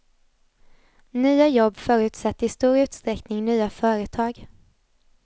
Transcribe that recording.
Nya jobb förutsätter i stor utsträckning nya företag.